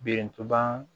Birintuban